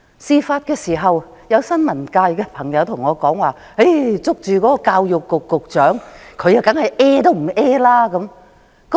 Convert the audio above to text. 事發時，有新聞界朋友跟我說，他向教育局局長追問時，對方當然是一聲不吭。